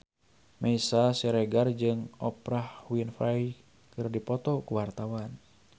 Meisya Siregar jeung Oprah Winfrey keur dipoto ku wartawan